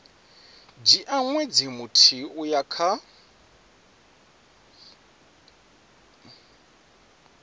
dzhia ṅwedzi muthihi uya kha